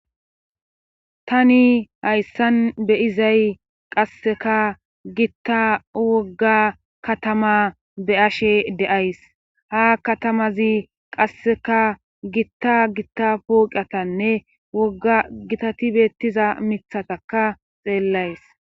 Tani hayssan be7izay qasseka gitta wogga katama be7ashe de7ays ha katamazi qasseka gitta gitta uatnne wogga gitati beettiza mikkatakka xeellays.